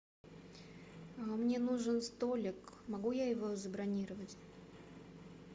мне нужен столик могу я его забронировать